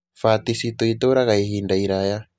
Fati citũ itũũraga ihinda iraya.